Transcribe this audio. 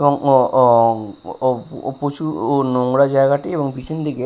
এবং ও-ও-ও-ও প্রচুর ও নোংরা জায়গাটি এবং পিছন দিকে --